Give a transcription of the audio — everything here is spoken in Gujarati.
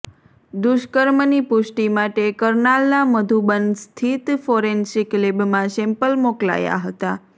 દુષ્કર્મની પુષ્ટિ માટે કરનાલના મધુબન સ્થિત ફોરેન્સિક લેબમાં સેમ્પલ મોકલાયા હતા